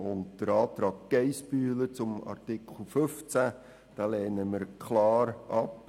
Den Antrag Geissbühler zu Artikel 15 lehnen wir klar ab.